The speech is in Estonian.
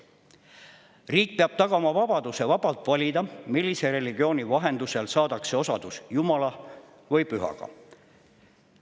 Riik peab tagama vabaduse valida, millise religiooni vahendusel saadakse osadus jumala või pühaga.